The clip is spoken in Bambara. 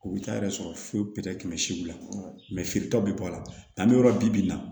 U bɛ taa yɛrɛ sɔrɔ foyi foyi tɛ tɛmɛ siw la feeretaw bɛ bɔ a la n'an bɛ yɔrɔ bibi in na